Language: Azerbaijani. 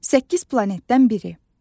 Səkkiz planetdən biri.